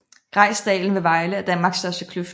Grejsdalen ved Vejle er Danmarks største kløft